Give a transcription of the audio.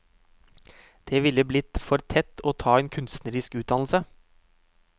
Det ville blitt for tett å ta en kunstnerisk utdannelse.